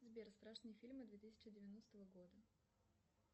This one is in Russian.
сбер страшные фильмы две тысячи девяностого года